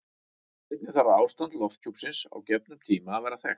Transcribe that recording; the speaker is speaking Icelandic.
Einnig þarf ástand lofthjúpsins á gefnum tíma að vera þekkt.